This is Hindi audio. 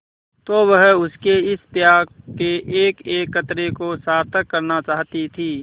तो वह उसके इस त्याग के एकएक कतरे को सार्थक करना चाहती थी